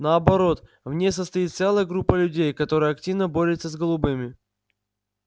наоборот в ней состоит целая группа людей которая активно борется с голубыми